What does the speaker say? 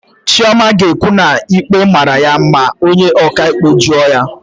Chioma ga-ekwu na ikpe mara ya ma onye ọkaikpe jụọ ya.